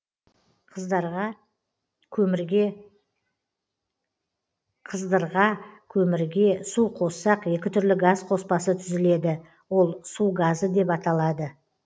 қыздырға көмірге су қоссақ екі түрлі газ қоспасы түзіледі ол су газы деп аталады